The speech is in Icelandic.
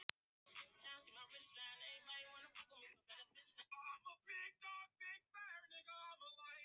Allt var í röð og reglu, dagarnir eins.